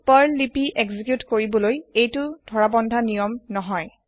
Perl লিপি execute কৰাৰ এইতু ধৰাবন্ধা নিয়ম নহই